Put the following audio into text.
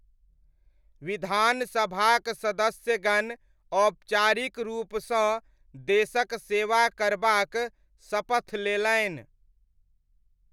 विधानसभाक सदस्यगण औपचारिक रूपसॅं देशक सेवा करबाक शपथ लेलनि।